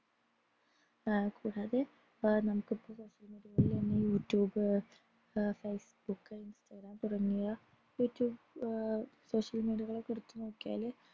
ആഹ് അതായത് നമുക്കിപ്പൊ YouTube Facebook Instagram തുടങ്ങിയ social media കളെടുത്തു നോക്കിയാൽ